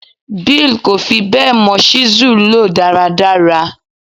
Bill kò fi bẹ́ẹ̀ mọ ṣísẹ́ẹ̀lì lò dáradára.